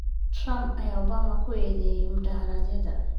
Trump ayaa Obama ku eedeeyay mudaaharaadyada